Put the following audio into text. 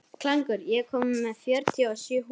Klængur, ég kom með fjörutíu og sjö húfur!